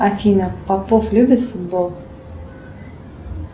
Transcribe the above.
афина попов любит футбол